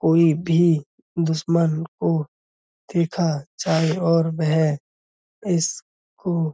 कोई भी दुश्मन को देखा जाये और वह इसको --